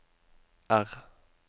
R